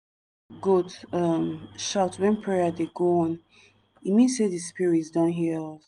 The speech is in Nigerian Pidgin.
we dey decorate di place with fresh cassava leaf wen we dey do land cleansing.